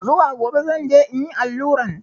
Zuwa gobe zan je in yi alluran.